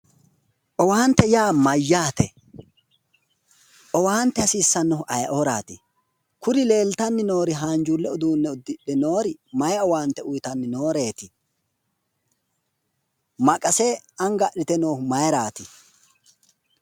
owaante yaa mayyaate ? owaante hasiissannohu ayeeooraati? kuri leeltanni noori haanjuulle uduunne udidhe mayi owaante uyiitanni nooreeti maqase anga adhite noohu mayiiraati?